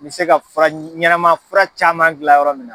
N bɛ se ka fura ɲɛnama fura caman gilan yɔrɔ min na.